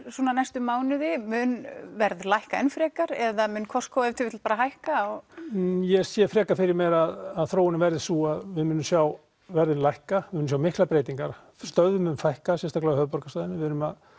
næstu mánuði mun verð lækka enn frekar eða mun Costco ef til vill bara hækka ég sé frekar fyrir mér að þróunin verði sú að við munum sjá verðið lækka munum sjá miklar breytingar stöðvum mun fækka og sérstaklega á höfuðborgarsvæðinu en við erum